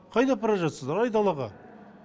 қайда апара жатсыздар айдалаға